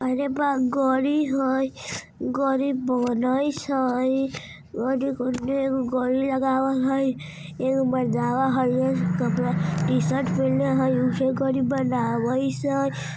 अरे बा गारी हइ गाड़ी बनइस हैं ओने गाड़ी लगाइस हइ एगो मर्दाना हरिहर कपड़ा टी शर्ट पेहनले हइ उहे गाड़ी बनाइस हइ।